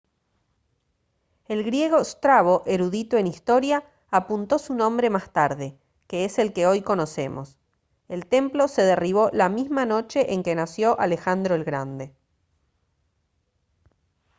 el griego strabo erudito en historia apuntó su nombre más tarde que es el que hoy conocemos el templo se derribó la misma noche en que nació alejandro el grande